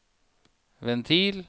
ventil